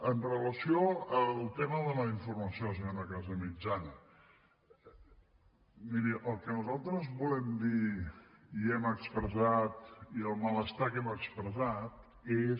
amb relació al tema de la informació senyora casamitjana miri el que nosaltres volem dir i hem expressat i el malestar que hem expressat és